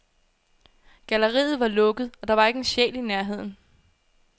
Galleriet var lukket, og der var ikke en sjæl i nærheden.